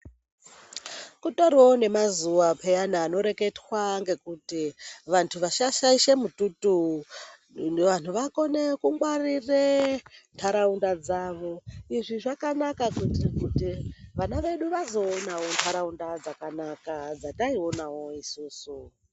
Kutorio nemazuwa peyani anoreketwa ngekuti vanthu vasashaisha mitutu vanthu vakone kungwarire ntharaunda dzavo izvi zvakanaka kuti vana vedu vazoonao ntharaunda dzakanaka dzataionao isusu.